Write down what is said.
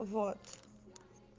вот